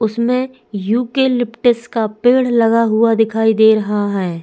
उसमे eucalyptus का पेड़ लगा हुआ दिखाई दे रहा है।